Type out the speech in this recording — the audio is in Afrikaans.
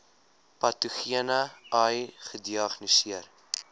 patogene ai gediagnoseer